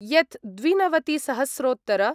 यत् द्विनवतिसहस्रोत्तर